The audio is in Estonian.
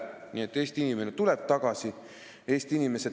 Nii et Eesti inimene tuleb tagasi.